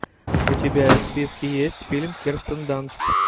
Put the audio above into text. у тебя в списке есть фильм кирстен данст